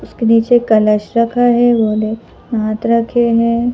उसके नीचे कलश रखा है भोले नाथ रखे हैं।